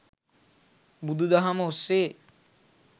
බුදු දහම ඔස්සේ